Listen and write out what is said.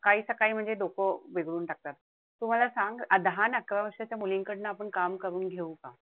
काईच्या काई म्हणजे डोकं बिघडून टाकतात. तू मला सांग दहा अन अकरा वर्षाच्या मुलींकडंनं आपण काम करून घेऊ का?